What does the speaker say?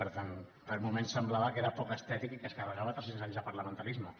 per tant per moments semblava que era poc estètic i que es carregava tres cents anys de parlamentarisme